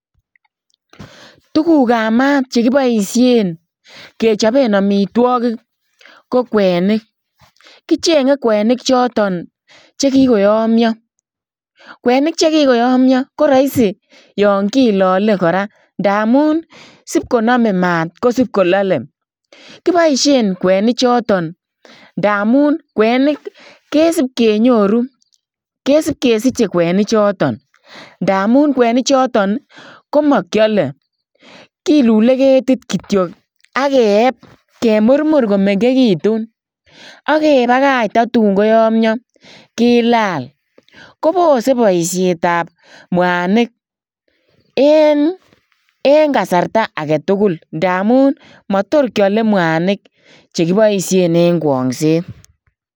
Tugukab mat chekiboisien kechopen amitwogik ko kwenik. Kichenge kwenik choton che kigoyomio. Kwenik che kigoyomio ko raisi yon kilole kora ndamun sipkoname mat ko sipkolale. Kiboisien kwenichoton ndamun kwenik kesipkenyoru. Kesipkesiche kwenichoton ndamun kwenichoto ko makiale. Kilule ketit kityo ak keep ak kemurmur komengegitun ak kebagach tatun koyomio kilal. Kopose boisietab mwanik en kasarta agetugul ndamun matorkiale mwanik che kiboisien eng kwongset.